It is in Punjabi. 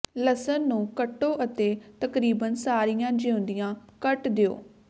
ਲਸਣ ਨੂੰ ਕੱਟੋ ਅਤੇ ਤਕਰੀਬਨ ਸਾਰੀਆਂ ਜੀਉਂਦੀਆਂ ਕੱਟ ਦਿਓ